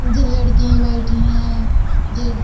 जे लड़कीं बैठी हैं जे --